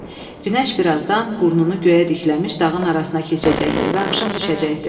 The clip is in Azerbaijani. Günəş birazdan burnunu göyə dikləmiş dağın arasına keçəcəkdi və axşam düşəcəkdi.